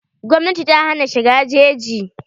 Gwmnati ta hana shiga jeji.